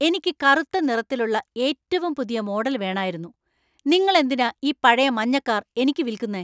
എനിക്ക് കറുത്ത നിറത്തിലുള്ള ഏറ്റവും പുതിയ മോഡൽ വേണായിരുന്നു. നിങ്ങൾ എന്തിനാ ഈ പഴയ മഞ്ഞ കാർ എനിക്ക് വിൽക്കുന്നെ ?